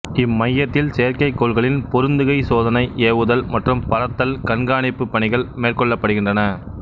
இம்மையத்தில் செயற்கைக்கோள்களின் பொருந்துகை சோதனை ஏவுதல் மற்றும் பறத்தல் கண்காணிப்பு பணிகள் மேற்கொள்ளப்படுகின்றன